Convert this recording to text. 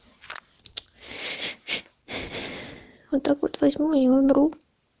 вот так вот возьму и умру